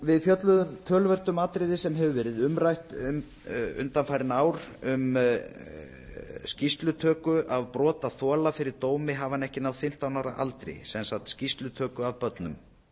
við fjölluðum töluvert um atriði sem hefur verið umrætt undanfarin ár um skýrslutöku af brotaþola fyrir dómi hafi hann ekki náð fimmtán ára aldri sem sagt skýrslutöku af börnum